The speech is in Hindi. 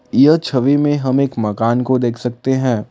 यह छवि में हम एक मकान को देख सकते हैं।